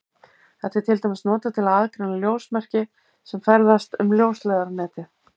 Þetta er til dæmis notað til að aðgreina ljósmerki sem ferðast um ljósleiðaranetið.